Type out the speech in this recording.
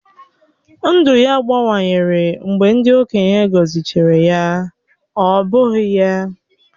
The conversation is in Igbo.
Ndụ ya gbanwere mgbe ndị okenye gọzịchara ya, ọ́ bụghị ya?